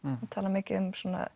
þú talar mikið um